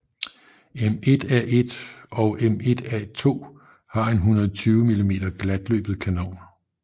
M1A1 og M1A2 har en 120 mm glatløbet kanon